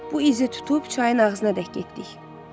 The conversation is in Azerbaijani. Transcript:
Bu izi tutub çayın ağzına tərəf getdik.